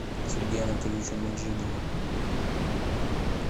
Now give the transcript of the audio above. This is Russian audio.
сергею анатольевичу меджидову